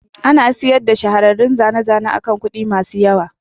Ana sayar da shahararrun zane-zane akan kuɗi masu yawa.